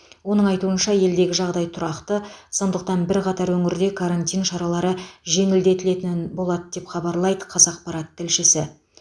оның айтуынша елдегі жағдай тұрақты сондықтан бірқатар өңірде карантин шаралары жеңілдетілетінін болады деп хабарлайды қазақпарат тілшісі